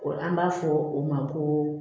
An b'a fɔ o ma ko